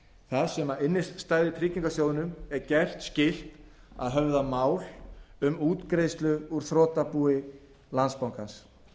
það þar sem innstæðutryggingarsjóðnum er gert skylt að höfða mál um útgreiðslu úr þrotabúi landsbankans